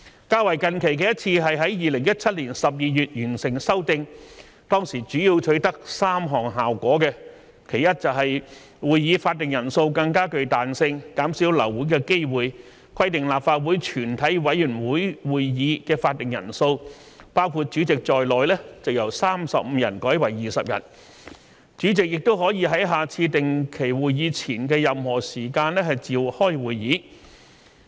較近期的一次是在2017年12月完成修訂，當時主要取得3項效果：其一，會議法定人數更具彈性，減少流會的機會，規定立法會全體委員會會議法定人數包括主席在內由35人改為20人，主席也可以在下次定期會議前的任何時間召開會議。